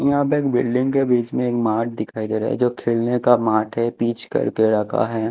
यहां पे एक बिल्डिंग के बीच में एक मार्ट दिखाई दे रहा है जो खेलने का मार्ट है पिच करके रखा है।